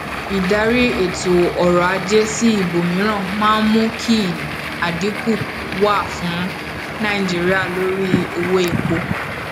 ṣàkíyèsí iye ọjọ tí um oníbàárà um oníbàárà fi máa sanwó